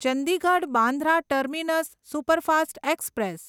Chandigarh Bandra terminus superfast express